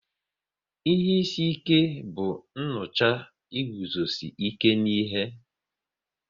Ihe isi ike bụ nnucha iguzosi ike n'ihe